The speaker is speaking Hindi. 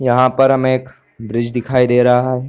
यहाँ पर हमें एक ब्रिज दिखाई दे रहा है।